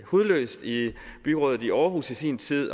hudløshed i byrådet i aarhus i sin tid i